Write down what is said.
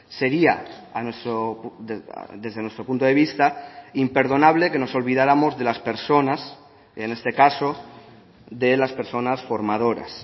sería desde nuestro punto de vista imperdonable que nos olvidáramos de las personas en este caso de las personas formadoras